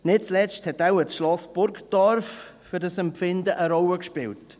Nicht zuletzt hat wohl das Schloss Burgdorf für dieses Empfinden eine Rolle gespielt.